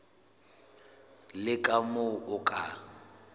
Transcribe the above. le ka moo o ka